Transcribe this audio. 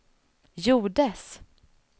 gjordes